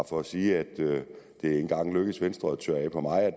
for at sige at det ikke engang er lykkedes venstre at tørre af på mig at